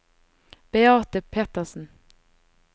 Beate Petersen